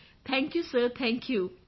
thank you sir thank you